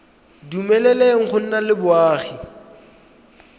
dumeleleng go nna le boagi